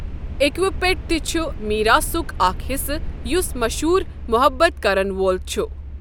اِکوپ پیٹ تہِ چُھ میراثُک اَکھ حِصہٕ یُس مشہوٗر محبت کَرن وول چُھ ۔